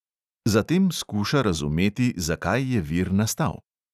Zatem skuša razumeti, zakaj je vir nastal.